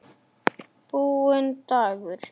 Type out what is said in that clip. Búinn dagur.